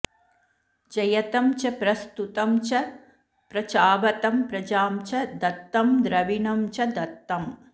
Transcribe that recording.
जयतं च प्र स्तुतं च प्र चावतं प्रजां च धत्तं द्रविणं च धत्तम्